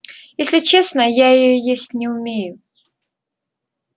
если честно я её есть не умею